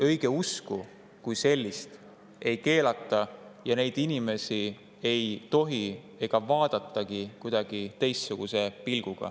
Õigeusku kui sellist ei keelata ja neid inimesi ei tohi vaadata ega vaadatagi kuidagi teistsuguse pilguga.